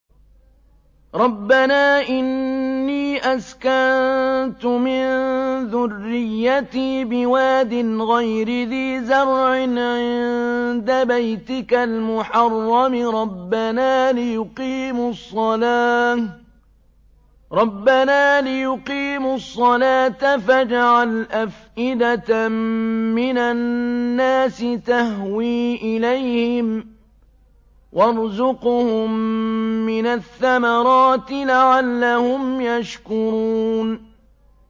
رَّبَّنَا إِنِّي أَسْكَنتُ مِن ذُرِّيَّتِي بِوَادٍ غَيْرِ ذِي زَرْعٍ عِندَ بَيْتِكَ الْمُحَرَّمِ رَبَّنَا لِيُقِيمُوا الصَّلَاةَ فَاجْعَلْ أَفْئِدَةً مِّنَ النَّاسِ تَهْوِي إِلَيْهِمْ وَارْزُقْهُم مِّنَ الثَّمَرَاتِ لَعَلَّهُمْ يَشْكُرُونَ